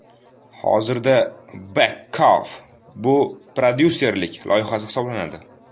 Hozirda @Beckoff bu prodyuserlik loyihasi hisoblanadi.